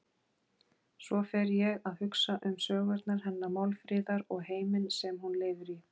Svo fer ég að hugsa um sögurnar hennar Málfríðar og heiminn sem hún lifir í.